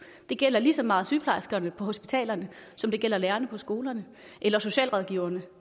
det gælder lige så meget sygeplejerskerne på hospitalerne som det gælder lærerne på skolerne eller socialrådgiverne